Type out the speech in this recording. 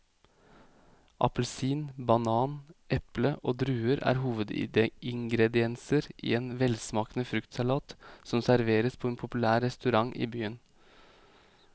Appelsin, banan, eple og druer er hovedingredienser i en velsmakende fruktsalat som serveres på en populær restaurant i byen.